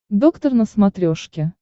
доктор на смотрешке